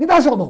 Me dá sua mão.